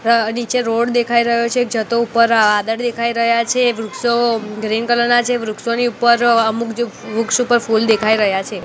અ નીચે રોડ દેખાય રહ્યો છે એક જતો ઉપર વાદળ દેખાય રહ્યા છે વૃક્ષો ગ્રીન કલર ના છે વૃક્ષોની ઉપર અમુક જે વૃક્ષો પર ફૂલ દેખાય રહ્યા છે.